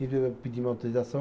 E eu pedi uma autorização.